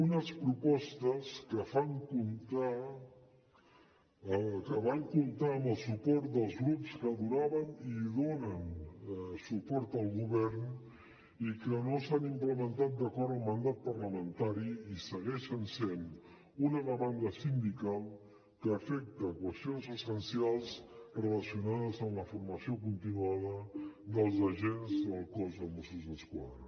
unes propostes que van comptar amb el suport dels grups que donaven i donen suport al govern i que no s’han implementat d’acord amb el mandat parlamentari i segueixen sent una demanda sindical que afecta qüestions essencials relacionades amb la formació continuada dels agents del cos de mossos d’esquadra